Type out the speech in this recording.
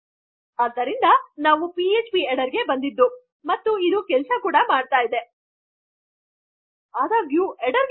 ನನ್ನ ಹೆಡ್ಡರ್ ಗಿಂತ ಮುಂಚೆ ಎಕ್ಕೊ ಆಗಿರುವ ನನ್ನ ಎಚ್ಟಿಎಂಎಲ್ ಕೊಡ್ ನನ್ನ ಬಳಿ ಇದರು ಸಹ ನಾನು ಪಿಎಚ್ಪಿಹೆಡ್ಡರ್ ಗೆ ಬರಬಹುದು ಮತ್ತು ಅದು ಕೆಲಸಮಾಡುವುದು